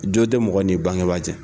Jo tɛ mɔgɔ ni bangeba cɛ.